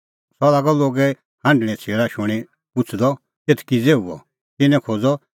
सह लागअ लोगे हांढणें छ़ेल़ा शूणीं पुछ़दअ एथ किज़ै हुअ